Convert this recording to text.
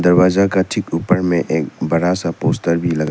दरवाजा का ठीक ऊपर में एक बड़ा सा पोस्टर भी लगा--